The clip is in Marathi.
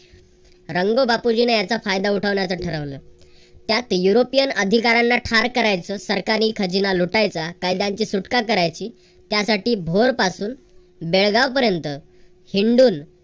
रंगो बापूजी ने याचा फायदा उठवण्याच ठरवल. त्यास युरोपियन अधिकार्‍याना ठार करायचं, सरकारी खजिना लुटायचा, कायद्यांची सुटका करायची त्यासाठी भोर पासून बेळगाव पर्यंत हिंडून